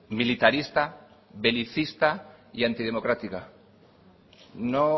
militarista belicista y antidemocrática no